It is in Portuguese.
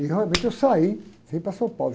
E realmente eu saí, vim para São Paulo.